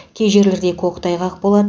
кей жерлерде көктайғақ болады